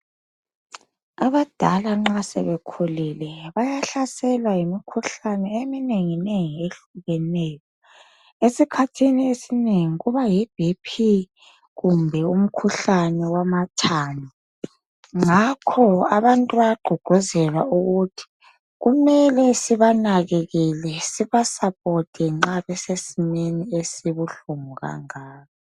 Abadala nxa asebekhulile bayahlaselwa yimikhuhlane eminenginengi ehlukeneyo esikhathini esinengi kuba Yi BP kumbe umkhuhlane wamathambo ngakho abantu bayagqugquzelwa ukuthi kumele sibanakekele siba support nxa besesimeni esibuhlungu kangaka.